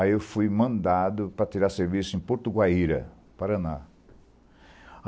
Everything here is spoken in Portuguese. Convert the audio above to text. Aí eu fui mandado para tirar serviço em Porto Guaíra, Paraná.